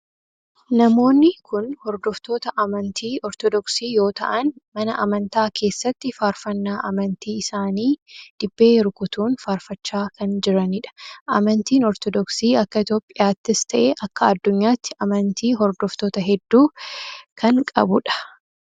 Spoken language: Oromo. Namoonni kun hordoftoota amantii ortodoksii yoo ta'aan mana amantaa keessatti faarfannaa amantii isaanii dibbee rukutuun faarfachaa kan jiranidha. amantiin ortodoksii akka itiyoophiyaattis ta'e akka adduunyaatti amantii hordoftoota heddu kan qabudha.